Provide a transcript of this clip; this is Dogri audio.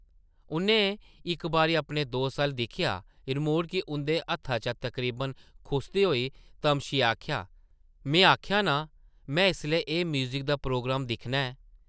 उʼन्नै इक बारी अपने दोस्त अʼल्ल दिक्खेआ, रिमोट गी उंʼदे हत्था चा तकरीबन खुसदे होई तमशियै आखेआ, में आखेआ नां, में इसलै एह् म्यूज़िक दा प्रोग्राम दिक्खना ऐ ।